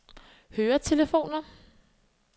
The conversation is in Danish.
høretelefoner